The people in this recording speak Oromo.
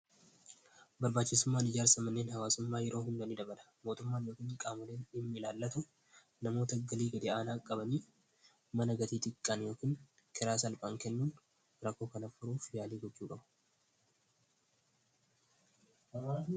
barbaachisummaan ijaarsa manneen haawaasummaa yeroo hundanii dabala mootummaan yookiin qaamaleen himmi ilaallatu namoota galii gadei'aanaa qabanii mana gatii xiqqaan yookiin kiraa salphaan kennuun rakkoo kanaf furuuf iyaalii gojcuu qabu